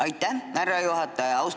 Aitäh, härra juhataja!